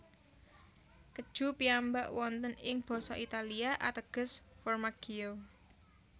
Keju piyambak wonten ing basa Italia ateges formaggio